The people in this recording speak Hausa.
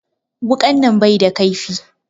Wuƙan nan bai da ƙaifi